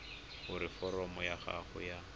gore foromo ya gago ya